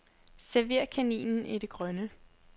Server kaninen i det grønne.